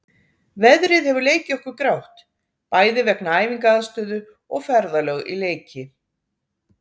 Veðrið hefur leikið okkur grátt, bæði vegna æfingaaðstöðu og ferðalög í leiki.